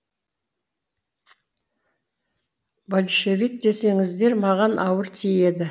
большевик десеңіздер маған ауыр тиеді